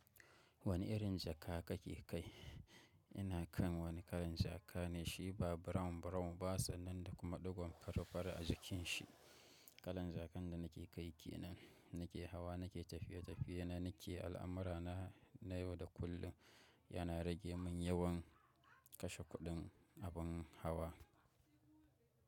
Wani irin jaka kake kai? Ina kan wani kalan jaka ne, shi ba brown brown ba sannan da kuma ɗigon farfara a jikin shi. Kalan jakan da nake kai ke nan, nake hawa nake tafiye-tafiye na nake al'amura na, na yau da kullum, yana rage mun yawan kashe kuɗin abin hawa.